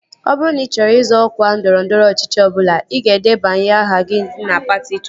Ọ bụrụ na ị chọrọ izọ ọkwa ndọrọndọrọ ọchịchị ọbụla, ị ga-edebanye aha gị na patị ị chọrọ